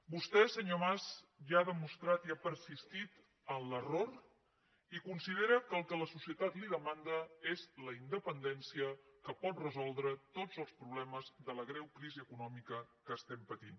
vostè senyor mas ja ha demostrat i ha persistit en l’error i considera que el que la societat li demanda és la independència que pot resoldre tots els problemes de la greu crisi econòmica que patim